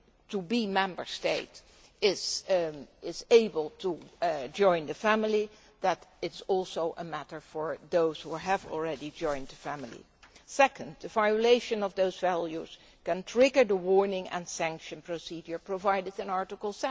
a would be Member State is able to join the family, that is also a matter for those who have already joined the family. Second, the violation of those values can trigger the warning and sanction procedure provided for in Article